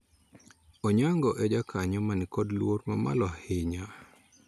Onyango e jakanyo mani kod luor mamalo ahinya